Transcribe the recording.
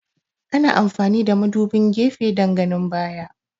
Ana amfani da madubin gefe dan ganin baya